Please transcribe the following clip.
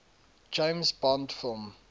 james bond film